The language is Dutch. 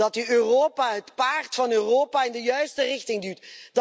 Dat u Europa, het paard van Europa, in de juiste richting duwt.